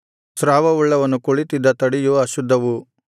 ಸ್ರಾವವುಳ್ಳವನು ಕುಳಿತ್ತಿದ್ದ ತಡಿಯು ಅಶುದ್ಧವು